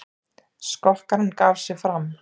Skokkarinn gaf sig fram